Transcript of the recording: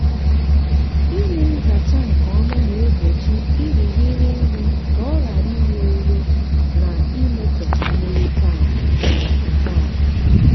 ime nzacha nke ọma na-egbochi irighiri nri ka ọ ghara ire ure na imetọ mmiri tankị. tankị.